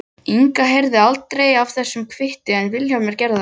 Inga heyrði aldrei af þessum kvitti en Vilhjálmur gerði það.